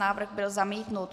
Návrh byl zamítnut.